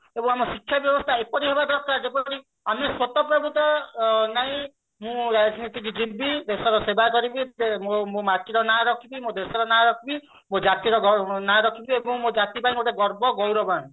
ଏବଂ ଆମ ଶିକ୍ଷା ବ୍ୟବସ୍ଥା ଏପରି ହବ ଦରକାର ଆମେ ସ୍ଵତଃ ପ୍ରବୃତ ଭାବେ କି ମୁଁ ରାଜନୀତିକୁ ଯିବି ଦେଶର ସେବା କରିବି ମୋ ମାଟିର ନାଁ ରଖିବି ମୋ ଦେଶର ନାଁ ରଖିବି ମୋ ଜାତିର ନାଁ ରଖିବି ଏବଂ ମୋ ଜାତି ପାଇଁ ଗୋଟେ ଗର୍ବ ଗୌରବ ଆଣିବି